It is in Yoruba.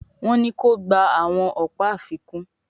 Wón ní kò gbà àwọn ọpa àfikún